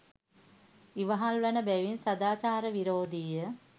ඉවහල් වන බැවින් සදාචාර විරෝධීය.